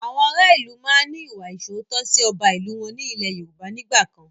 Àwọn ará ìlú máa ń ní ìwà ìsootọ́ sì ọba ìlú wọn ní ilẹ́ Yorùbá nígbàkan